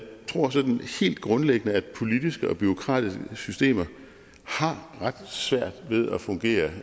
tror sådan helt grundlæggende at politiske og bureaukratiske systemer har ret svært ved at fungere